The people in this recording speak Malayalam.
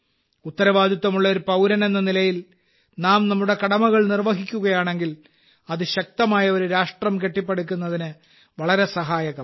ഉത്തരവാദിത്തമുള്ള ഒരു പൌരനെന്ന നിലയിൽ നാം നമ്മുടെ കടമകൾ നിർവഹിക്കുകയാണെങ്കിൽ അത് ശക്തമായ ഒരു രാഷ്ട്രം കെട്ടിപ്പടുക്കുന്നതിന് വളരെ സഹായകമാകും